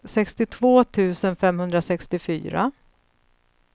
sextiotvå tusen femhundrasextiofyra